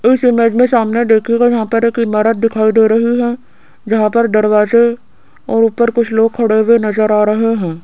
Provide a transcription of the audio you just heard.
इस इमेज मे सामने देखियेगा यहां पर एक ईमारत दिखाई दे रही हैं जहां पर दरवाजे और ऊपर कुछ लोग खड़े हुए नजर आ रहें हैं।